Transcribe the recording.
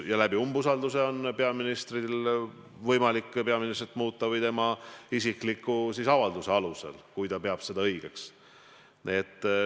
Umbusaldusega on võimalik peaministrit muuta või tema isikliku avalduse alusel, kui ta peab seda õigeks.